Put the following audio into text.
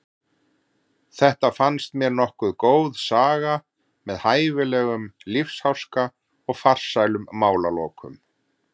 Þetta fannst mér nokkuð góð saga með hæfilegum lífsháska og farsælum málalokum.